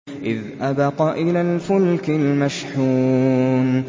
إِذْ أَبَقَ إِلَى الْفُلْكِ الْمَشْحُونِ